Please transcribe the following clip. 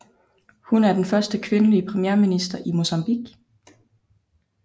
Hun er den første kvindelige premierminister i Mozambique